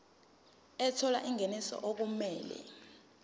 ethola ingeniso okumele